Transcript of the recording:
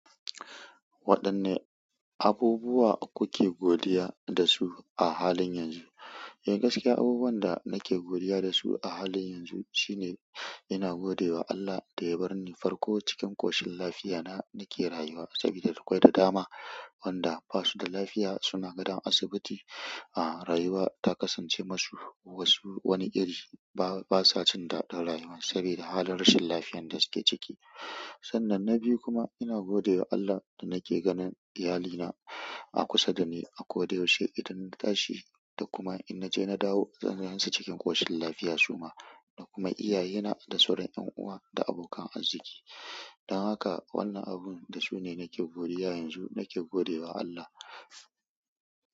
Waɗanne abubuwa kuke godiya dasu a halin yanzu? Eh, gaskiya abubuwan da nake godiya da su a halin yanzu shine ina gode wa Allah ɗaya bar ni farko cikin ƙoshin lafiya na nake rayuwa sabida akwai da dama, wanda basu da lafiya suna gadan asibiti, a rayuwa ta kasance masu wasu wani iri ba, basa jin daɗin rayuwa sabida halin rashin lafiyan da suke ciki. Sannan na biyu kuma ina gode wa Allah da nake ganin iyalina a kusa da ni, ako da yaushe idan na tashi da kuma in naje na dawo zan gansu cikin ƙoshin lafiya su ma da kuma iyaye na da sauran 'yan uwa da abokan azziki. Dan haka wannan abin da su ne nake godiya yanzu nake gode wa Allah.